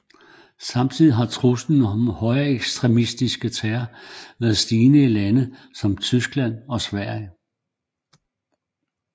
Samtidig har truslen om højreekstremistisk terror været stigende i lande som Tyskland og Sverige